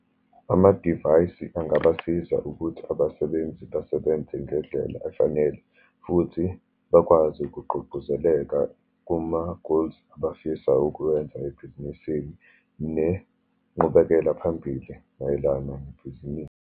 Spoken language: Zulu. Amadivayisi angabasiza ukuthi abasebenzi basebenze ngendlela efanele, futhi bakwazi ukugqugquzeleka kuma-goals abafisa ukuwenza ebhizinisini, nengqubekela phambili mayelana nebhizinisi.